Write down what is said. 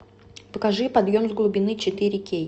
покажи подъем с глубины четыре кей